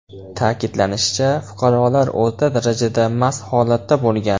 Ta’kidlanishicha, fuqarolar o‘rta darajada mast holatda bo‘lgan.